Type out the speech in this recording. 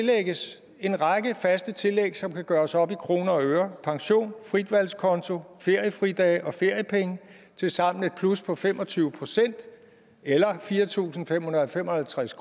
lægges en række faste tillæg som kan gøres op i kroner og øre pension fritvalgskonto feriefridage og feriepenge tilsammen et plus på fem og tyve procent eller fire tusind fem hundrede og fem og halvtreds